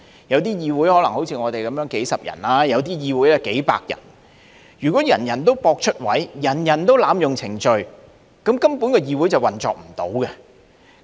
有些議會可能好像我們有數十人，有些更有數百人，如果人人都博出位，人人都濫用程序，議會根本無法運作。